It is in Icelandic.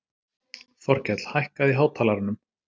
Þorkell, hækkaðu í hátalaranum.